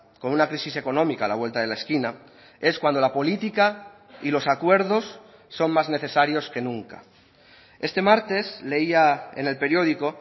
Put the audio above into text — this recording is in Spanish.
con una crisis económica a la vuelta de la esquina es cuando la política y los acuerdos son más necesarios que nunca este martes leía en el periódico